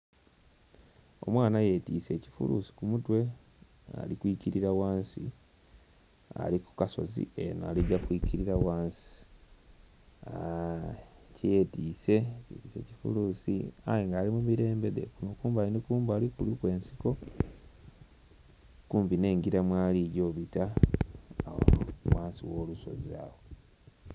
Omwana yetise ekifulusi kumutwe ali kwikirira ghansi ali kukasozi kene aligya kwikirira ghansi aa.. kye yetise yetise kifulusi aye nga ali mumirembe gye kumbali ni kumbali kuliku ensiko kumpi n'engira mwalija obita ghansi gho lusozi.